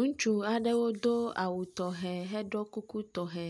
Ŋutsu aɖewo do awu tɔxɛ heɖo kuku tɔxɛ.